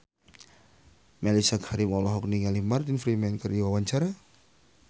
Mellisa Karim olohok ningali Martin Freeman keur diwawancara